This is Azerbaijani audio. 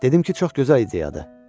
Dedim ki, çox gözəl ideyadır.